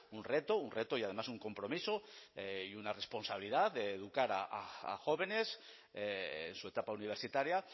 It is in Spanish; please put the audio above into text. un reto un reto y además un compromiso y una responsabilidad de educar a jóvenes su etapa universitaria